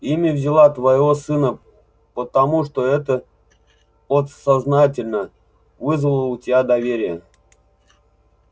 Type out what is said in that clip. имя взяла твоего сына потому что это подсознательно вызывало у тебя доверие